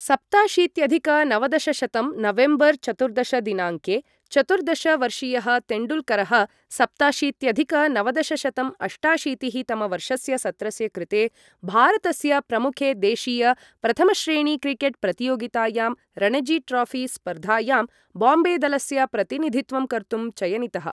सप्ताशीत्यधिक नवदशशतं नवेम्बर् चतुर्दश दिनाङ्के, चतुर्दश वर्षीयः तेण्डुल्करः सप्ताशीत्यधिक नवदशशतं अष्टाशीतिः तमवर्षस्य सत्रस्य कृते भारतस्य प्रमुखे देशीय प्रथमश्रेणीक्रिकेट् प्रतियोगितायां रणजी ट्रोऴि स्पर्धायां बाम्बे दलस्य प्रतिनिधित्वं कर्तुं चयनितः।